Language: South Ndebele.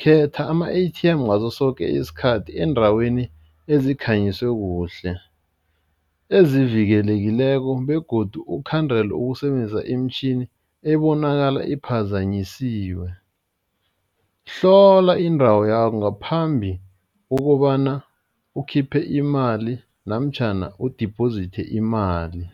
khetha ama-A_T_M ngaso soke isikhathi eendaweni ezikhanyiswe kuhle, ezivikelekileko begodu ukhandele ukusebenzisa imitjhini ebonakala iphazanyisiwe, hlola indawo ngaphambi kokobana ukhiphe imali namtjhana u-deposit imali.